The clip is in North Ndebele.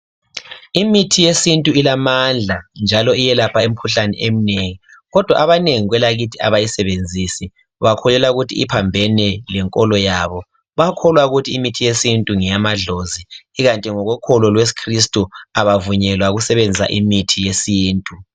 Imithi yesintu ilamandla njalo iyelapha imikhuhlane eminengi kodwa abanengi kwelakithi abayisebenzisi bakholelwa ukuthi iphambene lenkolo yabo bayakholwa ukuthi imithi yesintu ngeyamadlozi ikanti ngokokholo lwesikristu abavunyelwa ukusebenzisa imithi yesintu